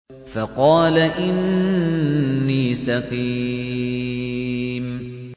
فَقَالَ إِنِّي سَقِيمٌ